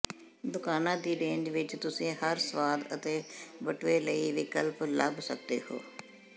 ਦੁਕਾਨਾਂ ਦੀ ਰੇਂਜ ਵਿੱਚ ਤੁਸੀਂ ਹਰ ਸਵਾਦ ਅਤੇ ਬਟੂਏ ਲਈ ਵਿਕਲਪ ਲੱਭ ਸਕਦੇ ਹੋ